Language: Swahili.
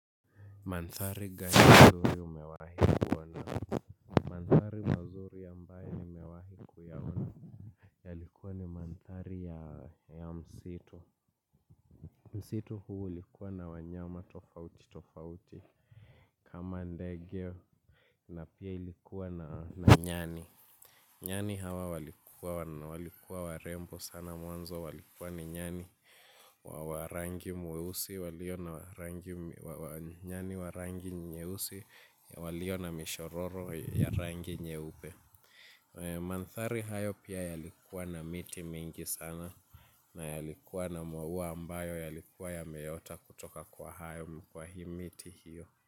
Mandhari gani mazuri umewahi kuona mandhari mazuri ambayo nimewahi kuyaona yalikuwa ni mandhari ya msitu msitu huu ulikuwa na wanyama tofauti tofauti kama ndege na pia ilikuwa na nyani. Nyani hawa walikuwa na walikuwa warembo sana mwanzo walikuwa ni nyani wa rangi mweusi walio na nyani wa rangi nyeusi walio na mishororo ya rangi nyeupe mandhari hayo pia yalikuwa na miti mingi sana na yalikuwa na mauwa ambayo yalikuwa yameota kutoka kwa hayo kwa hii miti hiyo.